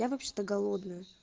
я вообще-то голодная